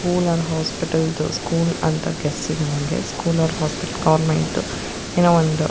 school or hospital ದು school ಅಂತ ಗೆಸ್ಸಿದೆ ನನಗೆ ಸ್ಕೂಲ್ ಆರ್ ಹಾಸ್ಪಿಟಲ್ ಗವರ್ಮೆಂಟ್ ಏನೋ ಒಂದು--